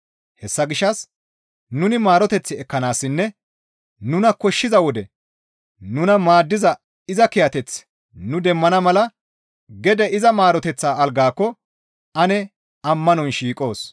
Hessa gishshas nuni maaroteth ekkanaassinne nuna koshshiza wode nuna maaddiza iza kiyateth nu demmana mala gede iza maaroteththa algaakko ane ammanon shiiqos.